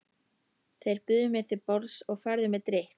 Þeir buðu mér til borðs og færðu mér drykk.